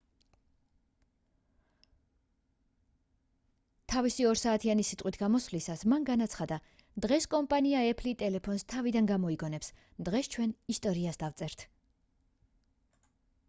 თავისი 2 საათიანი სიტყვით გამოსვლისას მან განაცხადა დღეს კომპანია apple-ი ტელეფონს თავიდან გამოიგონებს დღეს ჩვენ ისტორიას დავწერთ